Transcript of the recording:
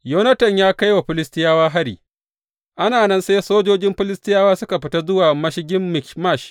Yonatan ya kai wa Filistiyawa hari Ana nan sai sojojin Filistiyawa suka fita zuwa mashigin Mikmash.